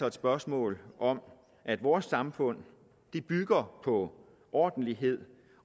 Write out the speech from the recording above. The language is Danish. et spørgsmål om at vores samfund bygger på ordentlighed